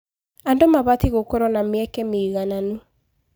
Andũ mabatiĩ gũkorwo na mĩeke mĩigananu.